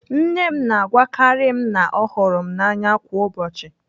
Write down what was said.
Nne m na-agwakarị m na ọ hụrụ m n'anya kwa ụbọchị.